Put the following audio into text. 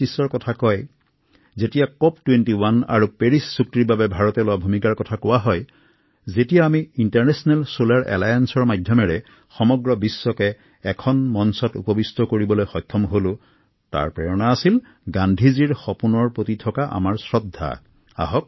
আজি ভাৰতে কোপেনহেগেন ২১ আৰু পেৰিছ চুক্তিত জলবায়ু পৰিৱৰ্তনৰ কথা কৈছে অথবা এই সন্দৰ্ভত এক বলিষ্ঠ ভূমিকা গ্ৰহণ কৰিছে তথা আন্তঃৰাষ্ট্ৰীয় সৌৰ মৈত্ৰীৰ জৰিয়তে সমগ্ৰ বিশ্বক একতাৰ দোলেৰে বান্ধিছেএই সকলোবোৰ চিন্তা মহাত্মা গান্ধীৰ সপোনৰ পৰাই অংকুৰিত হৈছে